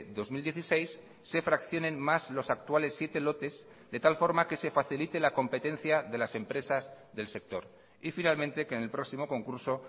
dos mil dieciséis se fraccionen más los actuales siete lotes de tal forma que se facilite la competencia de las empresas del sector y finalmente que en el próximo concurso